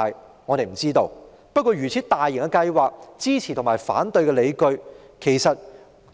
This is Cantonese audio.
不過，對於一項如此大型的計劃，支持和反對的理據也有，即使